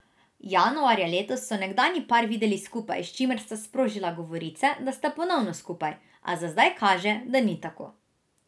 Januarja letos so nekdanji par videli skupaj, s čimer sta sprožila govorice, da sta ponovno skupaj, a za zdaj kaže, da ni tako.